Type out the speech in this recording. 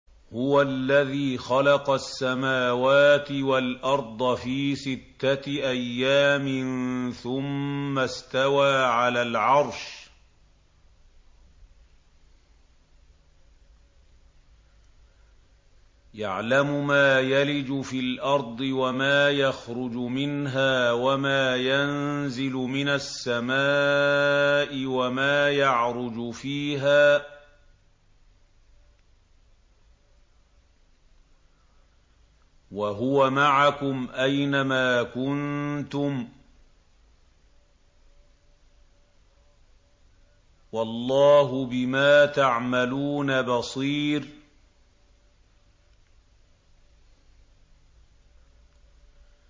هُوَ الَّذِي خَلَقَ السَّمَاوَاتِ وَالْأَرْضَ فِي سِتَّةِ أَيَّامٍ ثُمَّ اسْتَوَىٰ عَلَى الْعَرْشِ ۚ يَعْلَمُ مَا يَلِجُ فِي الْأَرْضِ وَمَا يَخْرُجُ مِنْهَا وَمَا يَنزِلُ مِنَ السَّمَاءِ وَمَا يَعْرُجُ فِيهَا ۖ وَهُوَ مَعَكُمْ أَيْنَ مَا كُنتُمْ ۚ وَاللَّهُ بِمَا تَعْمَلُونَ بَصِيرٌ